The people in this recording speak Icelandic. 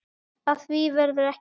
Af því verður ekki.